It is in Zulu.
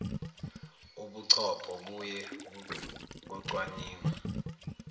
ubuchopho buye kocwaningwa